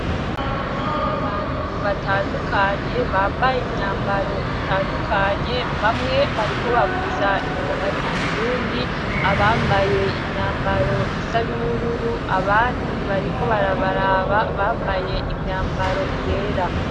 abantu batandukanye bambaye imyambaro itandukanye bamwe bariko bavuza ingoma z'ikirundi abambaye imyambaro isa n'ubururu abandi bariko barabaraba bambaye imyambaro yera